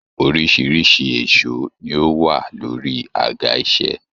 Oríṣiríṣi èsó ní o wà lórí àga iṣẹ.